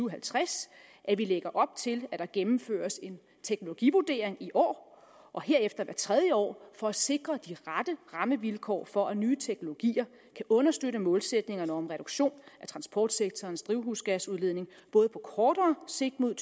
og halvtreds at vi lægger op til at der gennemføres en teknologivurdering i år og herefter hvert tredje år for at sikre de rette rammevilkår for at nye teknologier kan understøtte målsætningerne om en reduktion af transportsektorens drivhusgasudledning både på kortere sigt mod